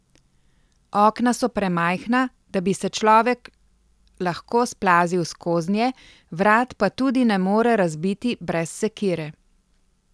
Okna so premajhna, da bi se človek lahko splazil skoznje, vrat pa tudi ne more razbiti brez sekire.